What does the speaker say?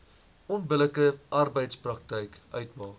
onbillike arbeidspraktyk uitmaak